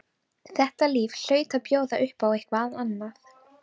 Þetta líf hlaut að bjóða upp á eitthvað annað.